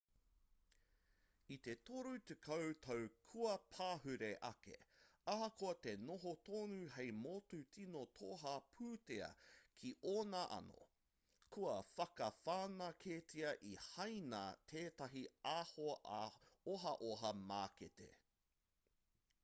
i te toru tekau tau kua pahure ake ahakoa te noho tonu hei motu tino toha pūtea ki ōna anō kua whakawhanaketia e hāina tētahi ohaoha mākete